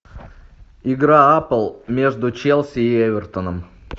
игра апл между челси и эвертоном